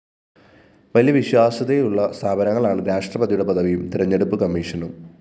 വലിയ വിശ്വാസ്യതയുള്ള സ്ഥാപനങ്ങളാണ് രാഷ്ട്രപതിയുടെ പദവിയും തെരഞ്ഞെടുപ്പ് കമ്മീഷനും